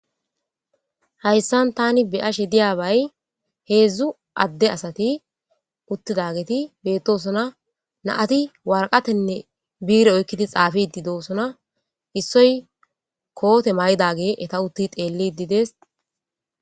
Hayisan tani beyashe diyabay hezu adde asati uttidageti beettosona naati warqatenne biire oykkidi xaafi di doosona issoy koote mayidage eta utti xeelli didees